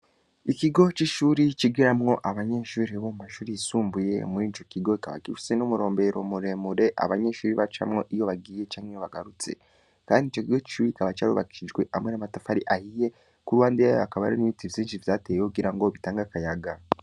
Ikigo c'ishuri 'ikigeramwo abanyenshuri bo mu mashuri yisumbuye muri ico kigokabakifise n'umurombero muremure abanyenshubiri bacamwo iyo bagiye canke yo bagarutse, kandi ico kigo cicubi kaba carubakijwe amwe namatafari ahiye kouruwande yayo akaba arin'ibita ivyinshi vyateye wogira ngo bitange akayaga.